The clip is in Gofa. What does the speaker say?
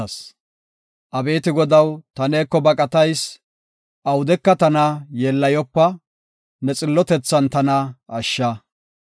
Abeeti Godaw, ta neeko baqatayis; awudeka tana yeellayopa; ne xillotethan tana ashsha.